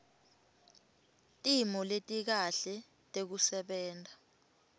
timo letikahle tekusebenta